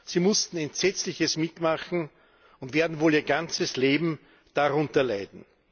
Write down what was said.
Sie mussten Entsetzliches mitmachen und werden wohl ihr ganzes Leben darunter leiden.